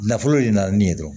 Nafolo de nana ni yen dɔrɔn